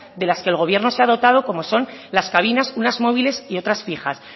de las que el gobierno se ha dotado como son las cabinas unas móviles y otras fijas